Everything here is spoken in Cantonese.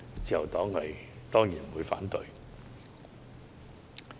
自由黨當然不會反對。